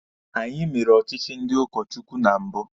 Anyi mere ọchịchị ndị ụkọ Chukwu na mbụ.